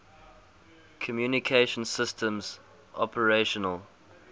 communication systems operational